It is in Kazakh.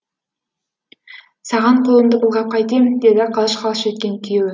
саған қолымды былғап қайтем деді қалш қалш еткен күйеуі